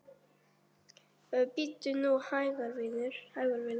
Bíddu nú hægur, vinur.